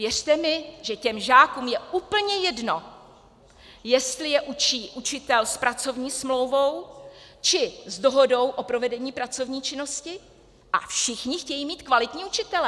Věřte mi, že těm žákům je úplně jedno, jestli je učí učitel s pracovní smlouvou, či s dohodou o provedení pracovní činnosti, a všichni chtějí mít kvalitní učitele.